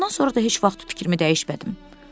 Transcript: Ondan sonra da heç vaxt fikrimi dəyişmədim.